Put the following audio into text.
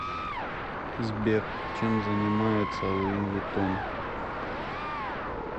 сбер чем занимается луи виттон